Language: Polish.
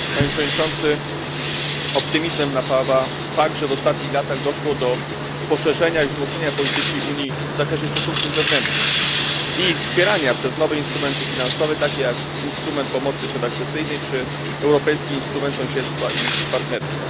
Panie Przewodniczący! Optymizmem napawa fakt, że w ostatnich latach doszło do poszerzenia i wzmocnienia polityki Unii w zakresie stosunków zewnętrznych i wspierania ich przez nowe instrumenty finansowe, takie jak instrument pomocy przedakcesyjnej czy europejski instrument sąsiedztwa i partnerstwa.